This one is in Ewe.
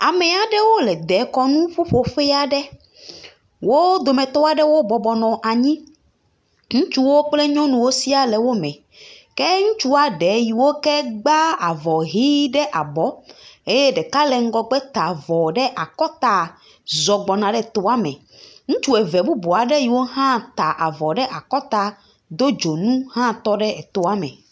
Ame aɖewo le dekɔnu ƒuƒo ƒe aɖe. Wo dometɔ aɖewo bɔbɔ nɔ anyi. Ŋutsuwo kple nyɔnuwo sɛ̃a wo bɔbɔ nɔ anyi. Ke ŋutsua ɖewo yi ke gba avɔ ʋi ɖe abɔ eye ɖeka le ŋgɔgbe ta avɔ ɖe akɔta zɔ gbɔna ɖe tɔa me. Ŋutsu eve bubu yi wo hã ta avɔ ɖe akɔta do dzonu hɔã tɔ ɖe etoa me.